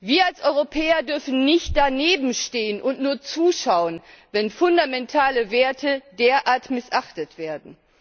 Wir als Europäer dürfen nicht danebenstehen und nur zuschauen, wenn fundamentale Werte derart missachtet werden.